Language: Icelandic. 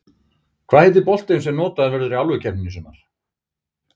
Hvað heitir boltinn sem notaður verður í Álfukeppninni í sumar?